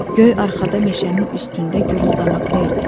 Göy arxada meşənin üstündə guruldamakta idi.